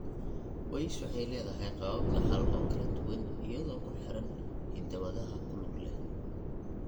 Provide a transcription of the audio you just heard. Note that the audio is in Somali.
weish waxay leedahay qaabab dhaxal oo kala duwan iyadoo ku xiran hidda-wadaha ku lug leh.